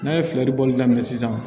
N'a ye fiyɛli bɔli daminɛ sisan